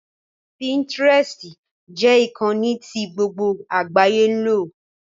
Pinterest jẹ́ ìkànnì tí gbogbo àgbáyé ń lò